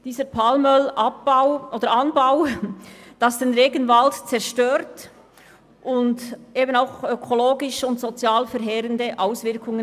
Der Palmölanbau zerstört den Regenwald und hat verheerende ökologische und soziale Auswirkungen.